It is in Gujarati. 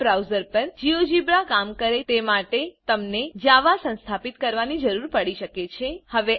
વેબ બ્રાઉજર પર જીઓજીબ્રા કામ કરે તે માટે તમને જાવા સંસ્થાપિત કરવાની જરૂર પડી શકે છે